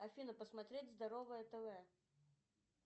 афина посмотреть здоровое тв